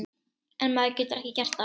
En maður getur ekki gert það.